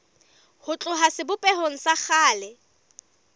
ho tloha sebopehong sa kgale